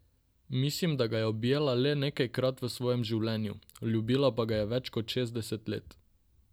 Mislim, da ga je objela le nekajkrat v vsem svojem življenju, ljubila pa ga je več kot šestdeset let.